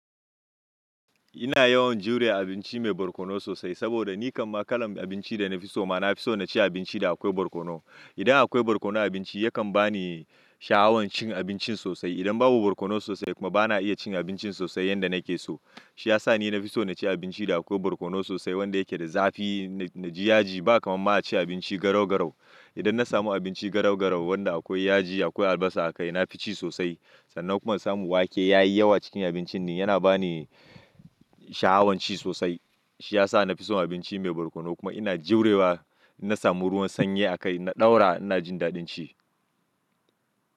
Ina yawan jure abinci mai barkono sosai saboda ni kamma kalan abinci da na fi so ma, na fi so na ci abinci da akwai barkono. Idan akwai barkono a abinci yakan ba ni shahawan cin abincin sosai. Idan babu barkono sosai kuma ba na iya cin abincin sosai yanda nake so. Shi ya sa ni na fi so na ci abinci da akwai barkono sosai wanda yake da zafi na ji yaji. Ba kamar ma a ci abinci garau garau. Idan na samu abinci garau garau wanda akwai yaji akwai albasa a kai na fi ci sosai. Sannan kuma insamu wake yayi yawa cikin abincin ne yana ba ni shaawan ci sosai. Shi ya sa na fi son abinci mai barkono kuma ina jurewa ina samu ruwan sanye a kai na ɗaura ina jin daɗin ci.